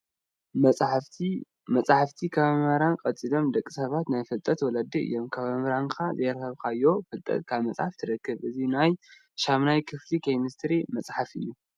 መፅሓፍቲ፡- መፅሓፍቲ ካብ መምህር ቀፂሎም ንደቂ ሰባት ናይ ፍልጠት ወለዲ እዮም፡፡ ካብ መምህርካ ዘይረኸብካዮ ፍልጠት ካብ መፅሓፍ ትረኽቦ፡፡ እዚ ናይ 8ይ ክፍሊ ኬሜስትሪ መፅሓፍ እዩ፡፡